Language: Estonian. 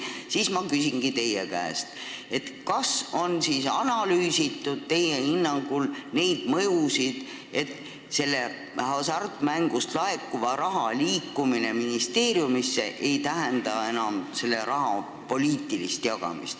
Seega ma küsingi teie käest, kas teie hinnangul on analüüsitud seda, et hasartmängudest laekuva raha liikumine ministeeriumisse ei tähenda enam selle raha poliitilist jagamist.